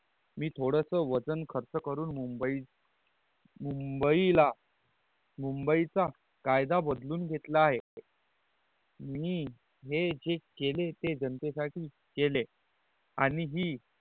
मी थोडस वजन खर्च करून मुंबई मुंबईला मुंबईचा कायदा बदलून घेतला आहे मी हे जे केले ते जानते साठी केले आणि ही